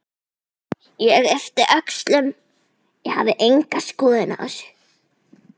Ég yppti öxlum, ég hafði enga skoðun á þessu.